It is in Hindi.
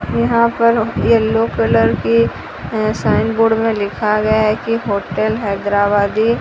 यहां पर येलो कलर के साइन बोर्ड में लिखा गया है कि होटल हैदराबादी --